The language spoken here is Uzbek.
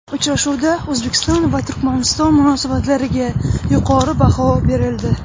Uchrashuvda O‘zbekiston va Turkmaniston munosabatlariga yuqori baho berildi.